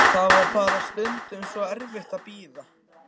Það var bara stundum svo erfitt að bíða.